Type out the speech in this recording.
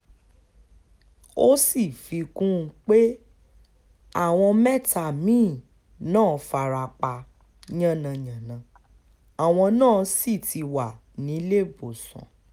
ó fi kún un pé àwọn mẹ́ta mí-ín náà fara pa yánnayànna àwọn náà sì ti wà níléèbọ̀sán